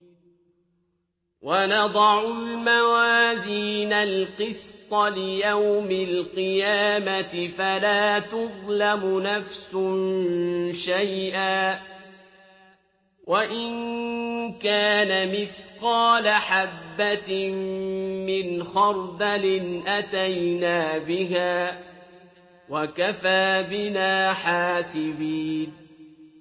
وَنَضَعُ الْمَوَازِينَ الْقِسْطَ لِيَوْمِ الْقِيَامَةِ فَلَا تُظْلَمُ نَفْسٌ شَيْئًا ۖ وَإِن كَانَ مِثْقَالَ حَبَّةٍ مِّنْ خَرْدَلٍ أَتَيْنَا بِهَا ۗ وَكَفَىٰ بِنَا حَاسِبِينَ